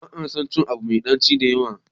ba a son cin Abu Mai daci da yawa